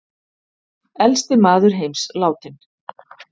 Elsti maður heims látinn